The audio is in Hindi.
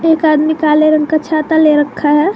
एक आदमी काले रंग का छाता ले रखा है।